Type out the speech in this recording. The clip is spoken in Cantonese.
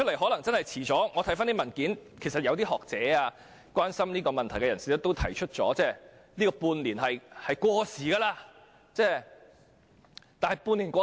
我曾翻看有關文件，發現有些學者或關注這個問題的人士指出半年的時效限制已過時。